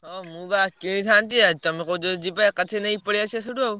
ହଁ ମୁଁ ବା କିଣିଥାନ୍ତି, ତମେ କହୁଛ ଯଦି ଯିବା ଏକାଥରେ ନେଇ ପଳେଇଆସିବା ସେଇଠୁ ଆଉ।